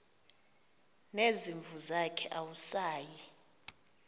nezimvu zakhe awusayi